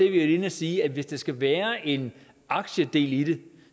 inde og sige at hvis der skal være en aktiedel i